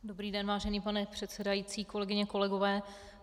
Dobrý den, vážený pane předsedající, kolegyně, kolegové.